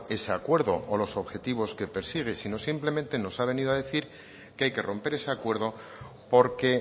ese acuerdo o los objetivos que persigue sino que simplemente nos ha venido a decir que hay que romper ese acuerdo porque